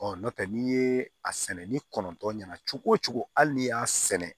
Ɔ n'o tɛ n'i ye a sɛnɛ ni kɔnɔntɔn ɲɛna cogo o cogo hali n'i y'a sɛnɛ